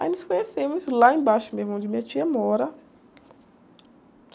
Aí nos conhecemos lá embaixo mesmo, onde minha tia mora.